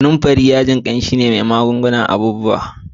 kananfari wani yaji kamshi ne kuma yana magungunan abubuwa.